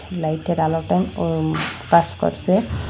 লাইটের আলোটাও উম পাস করসে।